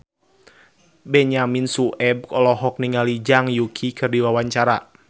Benyamin Sueb olohok ningali Zhang Yuqi keur diwawancara